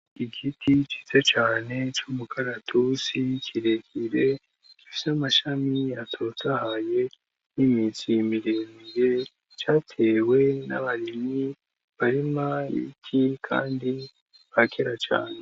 Igiti ciza cane c'umukaratusi kire kire gifise amashami atotahaye n'imizi miremire, catewe n'abarimyi barima ibiti kandi ba kera cane.